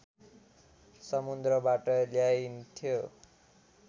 समुन्द्रबाट ल्याइन्थ्यो